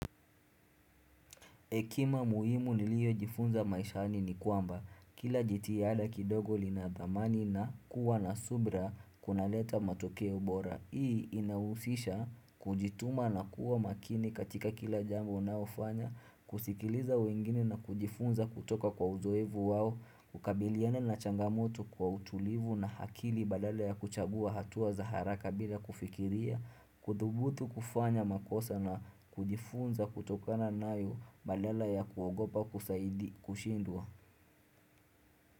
Hekima muhimu nilioyo jifunza maishani ni kwamba kila jitihada kidogo lina dhamani na kuwa na subra kunaleta matoke ubora. Hii inahusisha kujituma na kuwa makini katika kila jambo na ufanya, kusikiliza wengine na kujifunza kutoka kwa uzoevu wao, kukabiliana na changamoto kwa utulivu na hakili badala ya kuchagua hatua za haraka bila kufikiria, kudhubutu kufanya makosa na kujifunza kutoka na nayo badala ya kuogopa kusaidi kushindwa.